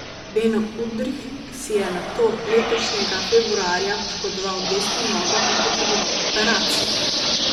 Beno Udrih si je nato letošnjega februarja poškodoval desno nogo in potreboval operacijo.